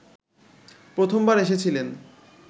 প্রথমবার এসেছিলেন